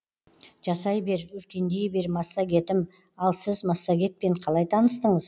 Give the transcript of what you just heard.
жасай бер өркендей бер массагетім ал сіз массагетпен қалай таныстыңыз